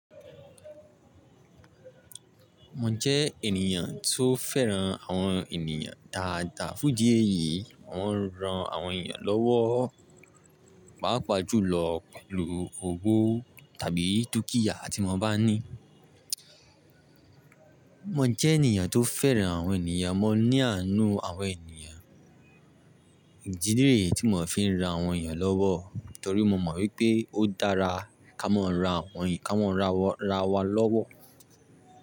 Mo jẹ́ ènìyàn tó fẹ́ràn àwọn ènìyàn dáadáa. Fún idi èyí, mò ń ran àwọn ènìyàn lọ́wọ́, pàápàá jùlọ pẹ̀lú owó tàbí dúkìá tí mo bá ní. Mo jẹ́ ènìyàn tó fẹ́ràn àwọn ènìyàn. Mo ní àánú àwọn ènìyàn. Ìdí nìyí tí mò fi ń ro àwọn ènìyàn lọ́wọ́ torí mo mọ̀ wípé ó dára ká mọ ran àwọn ènìyàn, ká mọ ran arawa lọ́wọ́.